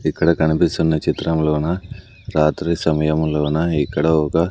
ఇక్కడ కనిపిస్తున్న చిత్రంలోన రాత్రి సమయము లోన ఇక్కడ ఒక.